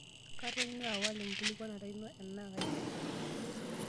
Katonyua awal enkikualata ino enaa kaigil?